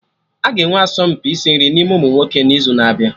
Aga enwe asọmpi isi nri n'ime ụmụnwoke n'izu na-abịa